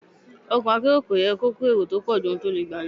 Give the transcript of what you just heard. Ọkọ̀ akérò kò yẹ kó èrò tó pọ̀jù ohun tó le gbé lọ.